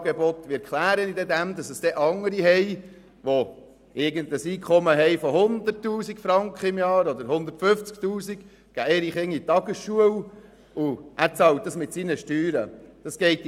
Wie erkläre ich ihm, dass andere mit einem Einkommen von 100 000 Franken oder mehr pro Jahr für ihre Kinder eine Ferienbetreuung in Anspruch nehmen und er mit seinen Steuern dafür bezahlen muss?